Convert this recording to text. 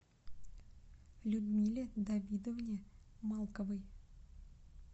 людмиле давидовне малковой